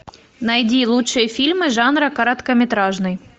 найди лучшие фильмы жанра короткометражный